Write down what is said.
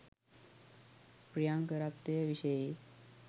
ප්‍රියංකරත්වය විෂයෙහි